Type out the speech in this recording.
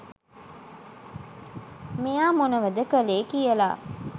මෙයා මොනවද කලේ කියලා.